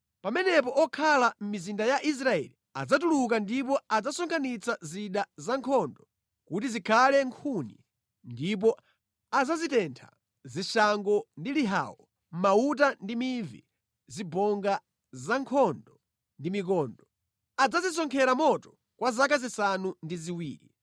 “Pamenepo okhala mʼmizinda ya Israeli adzatuluka ndipo adzasonkhanitsa zida zankhondo kuti zikhale nkhuni ndipo adzazitentha; zishango ndi lihawo, mauta ndi mivi, zibonga za nkhondo ndi mikondo. Adzazisonkhera moto kwa zaka zisanu ndi ziwiri.